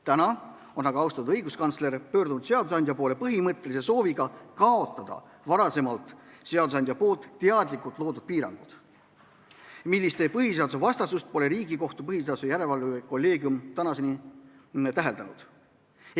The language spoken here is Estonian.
Täna on aga austatud õiguskantsler pöördunud seadusandja poole põhimõttelise sooviga kaotada seadusandja varem teadlikult loodud piirangud, mille põhiseadusvastasust pole Riigikohtu põhiseaduslikkuse järelevalve kolleegium tänaseni täheldanud.